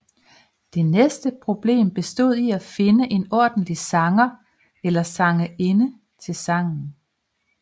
Det næste problem bestod i at finde en ordentlig sanger eller sangerinde til sangen